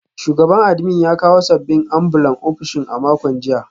Shugaban admin ya kawo sabbin ambulan ofishin a makon jiya